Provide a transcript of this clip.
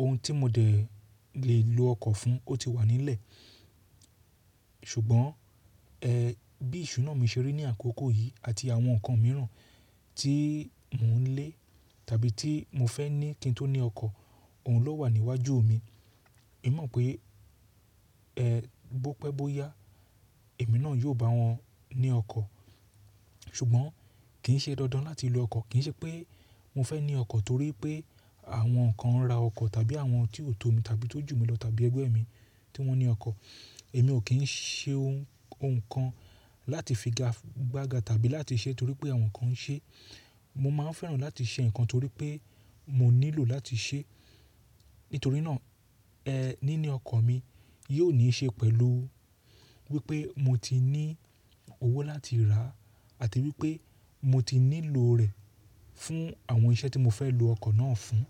Ohun tí mo de lé lo ọkọ̀ fún ó ti wà nílẹ̀ Ṣùgbọ́n, ẹ, bí iṣunáà mi ṣe rí ní àkókò yìí àti àwọn nǹkan mìíràn tí mò ń lé tàbí tí mo fẹ́ ní kí n tó ní ọkọ̀, òun ló wà níwájú mi. Èmi mọ̀ pé, ẹ, bó pẹ́ bó yá èmi náà yóò bá wọn ní ọkọ̀. Ṣùgbọ́n kì í ṣe dandan láti lo ọkọ̀. Kì í ṣe pé mo fẹ́ ní ọkọ̀ torípé àwọn kan ra ọkọ̀ tàbí àwọn tí ó tó mi tàbí tó jù mi lọ tàbí ẹgbẹ́ mi tí wọ́n ní ọkọ̀. Èmi ò kín ṣe ohun, kan láti figagbága tàbí láti ṣe torípé àwọn nǹkan ṣe. Mo máa fẹ́ràn láti ṣe nǹkan torípé mo nílò láti ṣe. Nítorínà ẹ, níní ọkọ̀ mi yóò ní í ṣe pẹ̀lú wípé mo ti ní owó láti rà àti wípé mo ti nílò rẹ̀ fún àwọn iṣẹ́ tí mo fẹ́ lo ọkọ̀ náà fún.